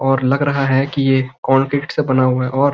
और लग रखा है कि ये कोलगेट से बनाया हुआ है और --